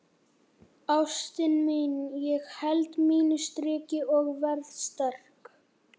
Ástin mín, ég held mínu striki og verð sterk.